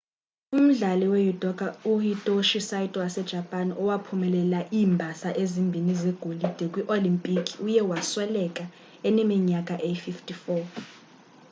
umdlali wejudoka uhitoshi saito wasejapan owaphumelela iimbasa ezimbini zegolide kwii-olimpiki uye wasweleka eneminyaka eyi-54